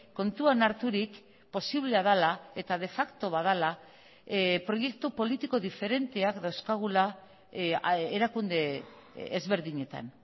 kontuan harturik posiblea dela eta de facto bat dela proiektu politiko diferenteak dauzkagula erakunde ezberdinetan